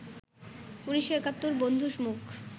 ১৯৭১ বন্ধুর মুখ